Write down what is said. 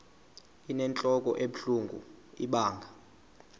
inentlok ebuhlungu ibanga